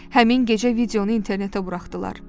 Həmin gecə videonu internetə buraxdılar.